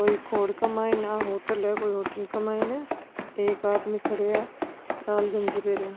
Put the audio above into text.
कोई रोड का माईने कोई होटल है कोई होटल का माईने एक आदमी खड़े है लाल गंजी पेहेरिया।